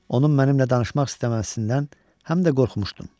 Onun mənimlə danışmaq istəməsindən həm də qorxmuşdum.